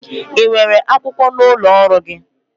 Ị nwere akwụkwọ n'ụlọ ọrụ gị?